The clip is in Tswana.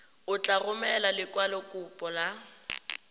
o tla romela lekwalokopo la